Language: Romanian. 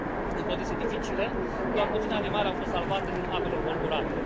în condiții dificile, doar puține animale au fost salvate din apele învolburate.